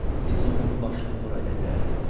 Biz onun başını bura gətirərik.